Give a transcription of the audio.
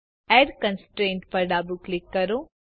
add constraint પર ડાબું click કરો